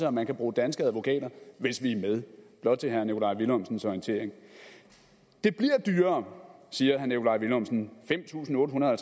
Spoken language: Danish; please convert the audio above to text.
at man kan bruge danske advokater hvis vi er med blot til herre nikolaj villumsens orientering det bliver dyrere siger herre nikolaj villumsen fem tusind otte hundrede og